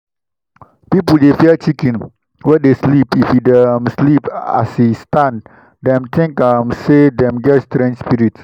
people dey fear chicken wey dey sleep if e dey um sleep as e stand dem think um say dem get strange spirit.